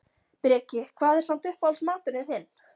Breki: Hvað er samt uppáhalds maturinn þinn?